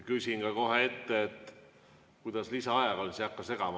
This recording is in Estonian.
Küsin kohe ette ära, kuidas lisaajaga on, siis ei hakka vahepeal segama.